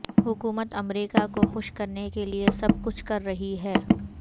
حکومت امریکہ کو خوش کرنے کے لیے سب کچھ کر رہی ہے